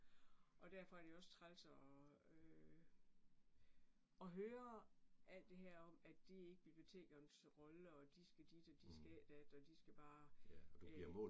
Og derfor er det jo også træls og øh og høre alt det her om at det ikke bibliotekernes rolle og de skal dit og de skal ikke dat og de skal bare æh